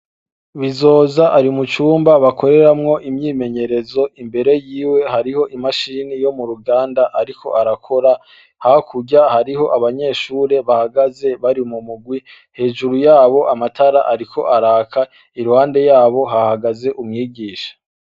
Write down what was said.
Bizoza ari mucumba bakoreramwo imyimenyerezo. Imbere yiwe hariho imashini yo muruganda ariko arakora. Hakurya, hariho abanyeshure bahagaze bari mumugwi, hejuru yabo amatara ariko araka. Iruhande yabo hahaze umwigisha.